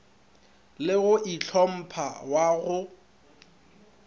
le go itlhompha wa go